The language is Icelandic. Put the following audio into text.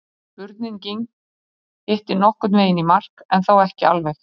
spurningin hittir nokkurn veginn í mark en þó ekki alveg